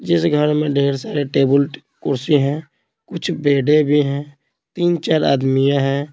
जिस घर में ढेर सारे टेबल कुर्सी हैं कुछ बेड़े भी हैं तीन चार आदमियां हैं।